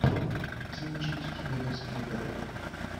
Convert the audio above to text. кинчик стивена спилберга